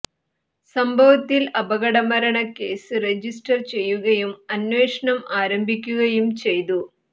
സംഭവത്തിൽ അപകട മരണ കേസ് രജിസ്റ്റർ ചെയ്യുകയും അന്വേഷണം ആരംഭിക്കുകയും ചെയ്തു